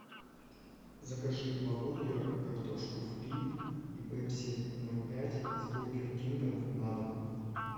закажи два бургера картошку фри и пепси ноль пять из бургер кинга на дом